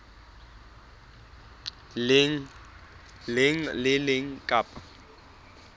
leng le le leng kapa